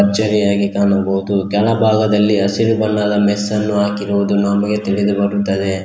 ಜರಿಯಾಗಿ ಕಾಣಬಹುದು ಕೆಳಭಾಗದಲ್ಲಿ ಹಸಿರು ಬಣ್ಣದ ಮೆಸ್ಸನ್ನು ಹಾಕಿರುವುದನ್ನು ನಮಗೆ ತಿಳಿದುಬರುತ್ತಿದೆ.